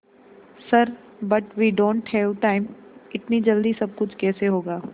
sir but we don't have time इतनी जल्दी सब कुछ कैसे होगा